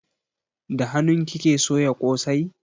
Da hanun kike soya kosai?